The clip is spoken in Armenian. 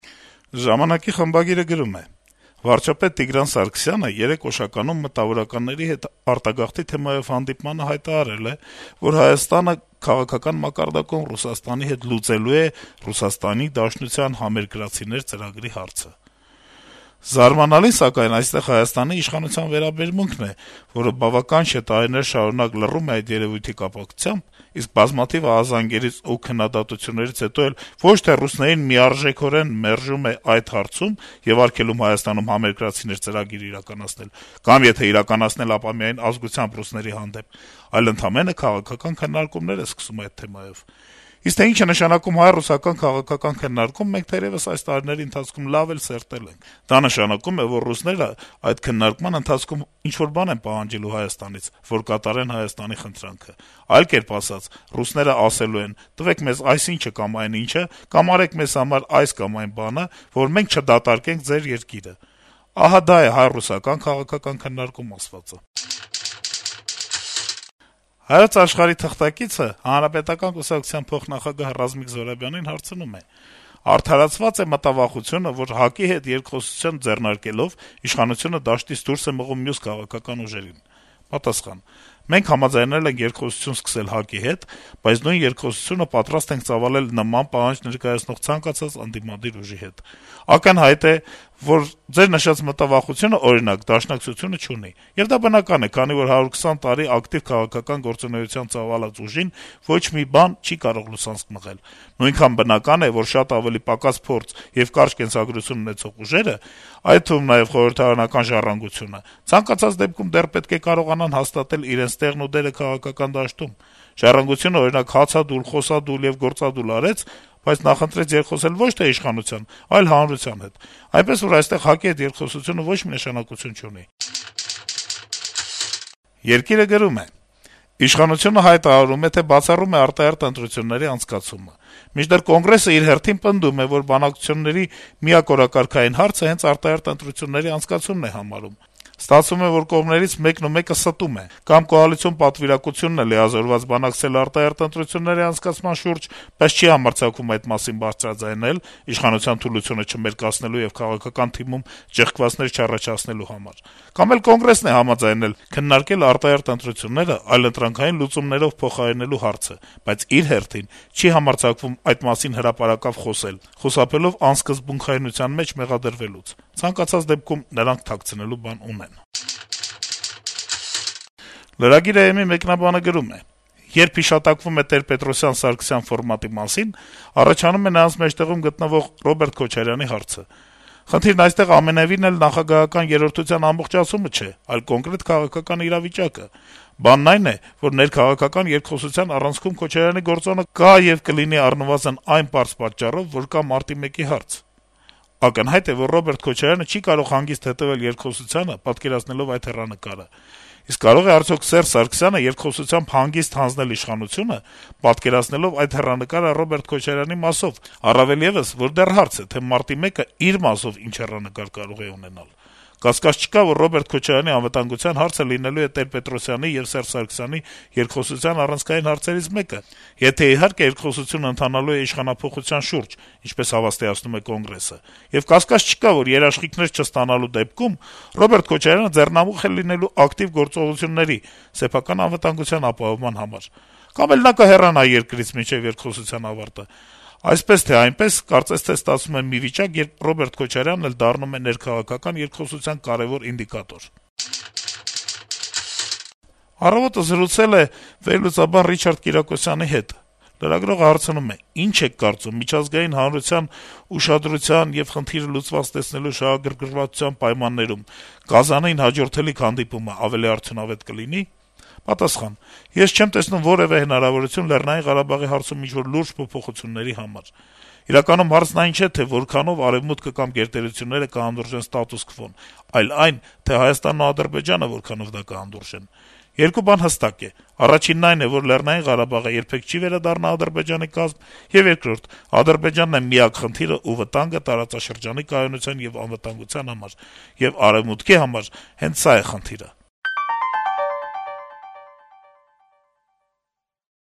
«Ժամանակ»-ի խմբագիրը գրում է. - «Վարչապետ Տիգրան Սարգսյանը երեկ Օշականում մտավորականների հետ արտագաղթի թեմայով հանդիպմանը հայտարարել է, որ Հայաստանը քաղաքական մակարդակում Ռուսաստանի հետ լուծելու է Ռուսաստանի Դաշնության «Համերկրացիներ» ծրագրի հարցը: Զարմանալին, սակայն, այստեղ Հայաստանի իշխանության վերաբերմունքն է, որը բավական չէ տարիներ շարունակ լռում է այդ երեւույթի կապակցությամբ, իսկ բազմաթիվ ահազանգերից եւ քննադատություններից հետո էլ ոչ թե ռուսներին միարժեք մերժում է այդ հարցում եւ արգելում Հայաստանում «Համերկրացիներ» ծրագիր իրականացնել, կամ եթե իրականացնել, ապա միայն ազգությամբ ռուսների հանդեպ, այլ ընդամենը քաղաքական քննարկումներ է սկսում այդ թեմայով: Իսկ թե ինչ է նշանակում հայ - ռուսական քաղաքական քննարկում, մենք թերեւս այս տարիների ընթացքում լավ ենք սերտել: Դա նշանակում է, որ ռուսները այդ քննարկման ընթացքում ինչ-որ բան են պահանջելու Հայաստանից, որ կատարեն Հայաստանի խնդրանքը: Այլ կերպ ասած` ռուսներն ասելու են տվեք մեզ այսինչը կամ այնինչը, կամ արեք մեզ համար այս կամ այն բանը, որ մենք չդատարկենք ձեր երկիրը: Ահա դա է հայ - ռուսական քաղաքական քննարկումներ ասվածը»: «Հայոց աշխարհ»-ի թղթակիցը Հանրապետական կուսակցության փոխնախագահ Ռազմիկ Զոհրաբյանին հարցնում է. - «Արդարացվա՞ծ է մտավախությունը, որ ՀԱԿ-ի հետ երկխոսություն ձեռնարկելով` իշխանությունը դաշտից դուրս է մղում մյուս քաղաքական ուժերին»: Պատասխան. - «Մենք համաձայնել ենք երկխոսություն սկսել ՀԱԿ-ի հետ, բայց նույն երկխոսությունը պատրաստ ենք ծավալել նման պահանջ ներկայացնող ցանկացած ընդդիմադիր ուժի հետ: Ակնհայտ է, որ ձեր նշած մտավախությունը, օրինակ, Դաշնակցությունը չունի: Եվ դա բնական է, քանի որ 120 տարի ակտիվ քաղաքական գործունեություն ծավալած ուժին ոչ մի բան չի կարող լուսանցք մղել: Նույնքան բնական է, որ շատ ավելի պակաս փորձ եւ կարճ կենսագրություն ունեցող ուժերը, այդ թվում` նաեւ խորհրդարանական «Ժառանգությունը», ցանկացած դեպքում դեռ պետք է կարողանան հաստատել իրենց տեղն ու դերը քաղաքական դաշտում: «Ժառանգությունը», օրինակ, հացադուլ, խոսադուլ եւ գործադուլ արեց, բայց նախընտրեց երկխոսել ոչ թե իշխանության, այլ հանրության հետ: Այնպես որ, այստեղ ՀԱԿ-ի հետ երկխոսությունը ոչ մի նշանակություն չունի»: «Երկիր»-ը գրում է. - «Իշխանությունը հայտարարում է, թե բացառում է արտահերթ ընտրությունների անցկացումը: Մինչդեռ Կոնգրեսն իր հերթին պնդում է, որ բանակցությունների միակ օրակարգային հարցը հենց արտահերթ ընտրությունների անցկացումն է համարում: Ստացվում է, որ կողմերից մեկն ու մեկը ստում է. կամ կոալիցիոն պատվիրակությունն է լիազորված բանակցել արտահերթ ընտրությունների անցկացման շուրջ, բայց չի համարձակվում այդ մասին բարձրաձայնել` իշխանության թուլությունը չմերկացնելու եւ քաղաքական թիմում ճեղքվածքներ չառաջացնելու համար, կամ Կոնգրեսն է համաձայնել` քննարկել արտահերթ ընտրություններն այլընտրանքային լուծումներով փոխարինելու հարցը, բայց իր հերթին չի համարձակվում այդ մասին հրապարակավ խոսել` խուսափելով անսկզբունքայնության մեջ մեղադրվելուց: Ցանկացած դեպքում նրանք թաքցնելու բան ունեն»: Lragir.am-ի մեկնաբանը գրում է. - «Երբ հիշատակվում է Տեր-Պետրոսյան - Սարգսյան ֆորմատի մասին, առաջանում է նրանց մեջտեղում գտնվող Ռոբերտ Քոչարյանի հարցը: Խնդիրն այստեղ ամենեւին էլ նախագահական «երրորդության» ամբողջացումը չէ, այլ կոնկրետ քաղաքական իրավիճակը: Բանն այն է, որ ներքաղաքական երկխոսության առանցքում Քոչարյանի գործոնը կա եւ կլինի առնվազն այն պարզ պատճառով, որ կա Մարտի 1-ի հարց: Ակնհայտ է, որ Ռոբերտ Քոչարյանը չի կարող հանգիստ հետեւել երկխոսությանը, պատկերացնելով այդ հեռանկարը: Իսկ կարո՞ղ է արդյոք Սերժ Սարգսյանը երկխոսությամբ հանգիստ հանձնել իշխանությունը, պատկերացնելով այդ հեռանկարը Ռոբերտ Քոչարյանի մասով, առավել եւս, որ դեռ հարց է, թե Մարտի 1-ն իր մասով ինչ հեռանկար կարող է ունենալ: Կասկած չկա, որ Ռոբերտ Քոչարյանի անվտանգության հարցը լինելու է Տեր-Պետրոսյանի եւ Սերժ Սարգսյանի երկխոսության առանցքային հարցերից մեկը, եթե իհարկե երկխոսությունը ընթանալու է իշխանափոխության շուրջ, ինչպես հավաստիացնում է Կոնգրեսը: Եվ կասկած չկա, որ երաշխիքներ չստանալու դեպքում, Ռոբերտ Քոչարյանը ձեռնամուխ է լինելու ակտիվ գործողությունների, սեփական անվտանգության ապահովման համար: Կամ էլ նա կհեռանա երկրից, մինչ երկխոսության ավարտը: Այսպես, թե այնպես, կարծես թե ստացվում է մի վիճակ, երբ Ռոբերտ Քոչարյանն էլ դառնում է ներքաղաքական երկխոսության կարեւոր ինդիկատոր»: «Առավոտ»-ը զրուցել է վերլուծաբան Ռիչարդ Կիրակոսյանի հետ: Լրագրողը հարցնում է. - «Ի՞նչ եք կարծում, միջազգային հանրության այս ուշադրության եւ խնդիրը լուծված տեսնելու շահագրգռվածության պայմաններում Կազանին հաջորդելիք հանդիպումն ավելի արդյունավե՞տ կլինի»: Պատասխան. - «Ես չեմ տեսնում որեւէ հնարավորություն Լեռնային Ղարաբաղի հարցում ինչ-որ լուրջ փոփոխությունների համար: Իրականում հարցն այն չէ, թե որքանով Արեւմուտքը կամ գերտերությունները կհանդուրժեն ստատուս քվոն, այլ այն, թե Հայաստանն ու Ադրբեջանը որքանով դա կհանդուրժեն: Երկու բան հստակ է. առաջինն այն է, որ Լեռնային Ղարաբաղը երբեք չի վերադառնա Ադրբեջանի կազմ, եւ երկրորդը` Ադրբեջանն է միակ խնդիրն ու վտանգը տարածաշրջանի կայունության եւ անվտանգության համար, եւ Արեւմուտքի համար հենց սա է խնդիրը»: